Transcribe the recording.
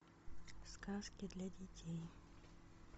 сказки для детей